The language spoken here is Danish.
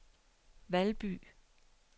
Valby